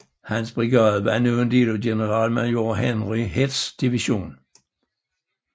Hans brigade var nu en del af generalmajor Henry Heths division